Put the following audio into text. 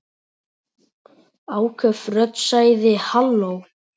Áköf rödd sagði: Halló?